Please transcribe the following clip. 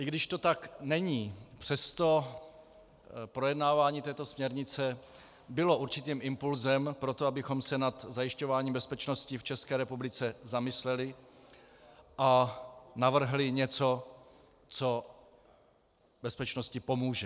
I když to tak není, přesto projednávání této směrnice bylo určitým impulsem pro to, abychom se nad zajišťováním bezpečnosti v České republice zamysleli a navrhli něco, co bezpečnosti pomůže.